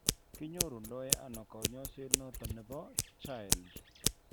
kinyoru ndo ano kanyaiset noton nebo chILD